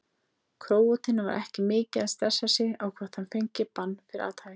Króatinn var ekki mikið að stressa sig á hvort hann fengi bann fyrir athæfið.